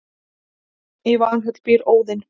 í valhöll býr óðinn